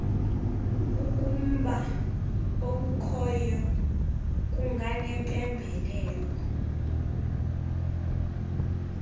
ukumba okukhoyo kunganempembelelo